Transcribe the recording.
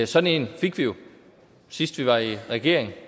sådan en fik vi jo sidst vi var i regering